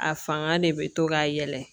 A fanga de bɛ to ka yɛlɛ